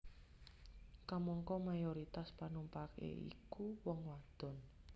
Kamangka mayoritas panumpaké iku wong wadon